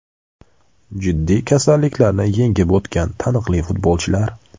Jiddiy kasalliklarni yengib o‘tgan taniqli futbolchilar !